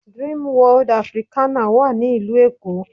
Dreamworld Africana wà ní ìlú Èkó